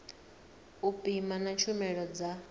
u pima na tshumelo dza